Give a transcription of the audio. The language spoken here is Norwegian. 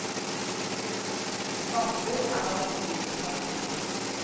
Svamper er blant de dyrene som er funnet.